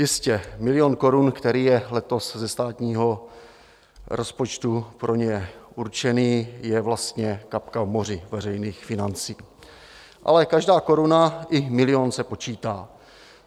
Jistě, milion korun, který je letos ze státního rozpočtu pro ně určený, je vlastně kapka v moři veřejných financí, ale každá koruna i milion se počítá.